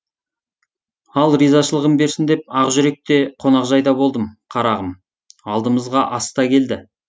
алла ризашылығын берсін деп ақжүрек те қонақжайда болдым қарағым алдымызға ас та келді